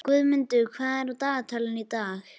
Guðmunda, hvað er á dagatalinu í dag?